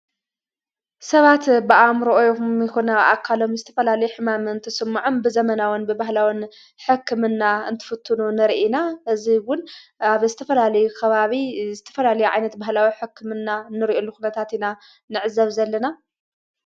ሰባት ብኣእምሮኦም ይኹን ኣብኣካሎም ዝተፈላለየ ሕማም እንትስመዖም ብዘመናውን ብባህላውን ሕክምና እንትፍትኑ ንርኢ ኢና። እዙይ እውን ኣብ ዝተፈላለየ ኸባቢ ዝተፈላየ ዓይነት ባህላዊ ሕክምና ንርኤሉ ኩነታት ኢና ንዕዘብ ዘለና።